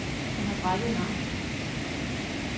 Han har brækket en arm.